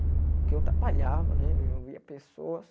Porque eu trabalhava né, eu via pessoas.